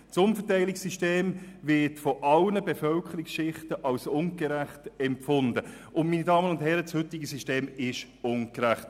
Das Umverteilungssystem wird von allen Bevölkerungsschichten als ungerecht empfunden, und, meine Damen und Herren, das heutige System ist tatsächlich ungerecht!